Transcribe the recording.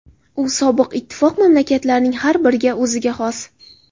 U sobiq ittifoq mamlakatlarining har biriga o‘ziga xos.